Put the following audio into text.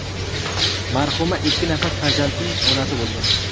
Marhuma ikki nafar farzandning onasi bo‘lgan.